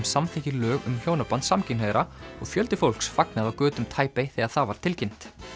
samþykkir lög um hjónaband samkynhneigðra og fjöldi fólks fagnaði á götum þegar það var tilkynnt